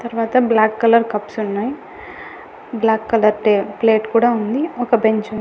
తర్వాత black colour కప్స్ ఉన్నాయి బ్లాక్ కలర్ టే ప్లేట్ కూడా ఉంది ఒక బెంచ్ ఉంది.